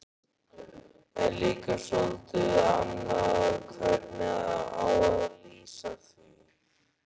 En líka soldið annað hvernig á að lýsa því